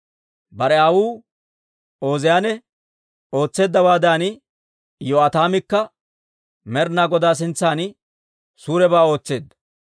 Bare aawuu Ooziyaane ootseeddawaadan, Iyo'aataamikka Med'ina Godaa sintsan suurebaa ootseedda.